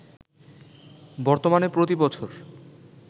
বর্তমানে প্রতি বছর